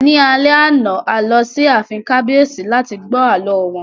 Ní alẹ́ àná, a lọ sí ààfin kábíyèsí láti gbọ́ àlọ́ wọn